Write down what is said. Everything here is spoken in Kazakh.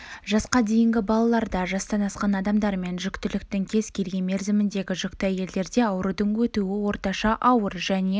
жасқа дейінгі балаларда жастан асқан адамдар мен жүктіліктің кез келген мерзіміндегі жүкті әйелдерде аурудың өтуі орташа ауыр және